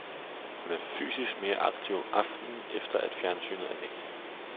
Hun er fysisk mere aktiv om aftenen, efter at fjernsynet er væk.